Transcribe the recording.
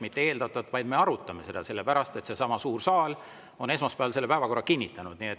Mitte eeldatavalt, vaid me arutame seda, sellepärast et seesama suur saal on esmaspäeval päevakorra kinnitanud.